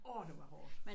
Orh det var hårdt